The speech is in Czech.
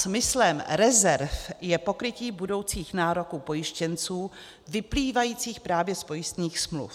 Smyslem rezerv je pokrytí budoucích nároků pojištěnců vyplývajících právě z pojistných smluv.